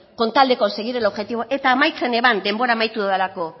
con tal de conseguir el objetivo eta amaitzen eban denbora amaitu dodalako